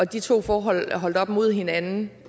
de to forhold holdt op mod hinanden